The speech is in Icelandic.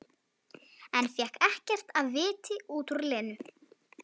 En fékk ekkert af viti út úr Lenu.